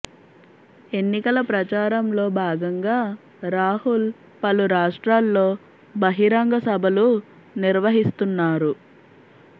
ఎన్నికల ప్రచారంలో భాగంగా రాహుల్ పలు రాష్ట్రాల్లో బహిరంగ సభలు నిర్వహిస్తున్నారు